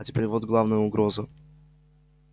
а теперь вот главная угроза